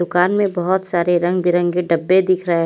दुकान में बहोत सारे रंग बिरंगे डब्बे दिख रहे--